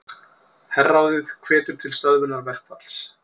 Herráðið hvetur til stöðvunar verkfalls